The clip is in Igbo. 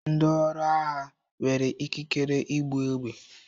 Ndi ọrụ agha nwere ikikere ibu egbe.